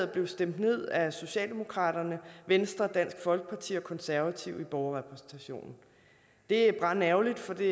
blev stemt ned af socialdemokratiet venstre dansk folkeparti og de konservative i borgerrepræsentationen det er brandærgerligt for det